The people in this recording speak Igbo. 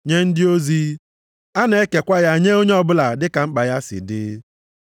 nye ndị ozi, a na-ekekwa ya nye onye ọbụla dị ka mkpa ya si dị.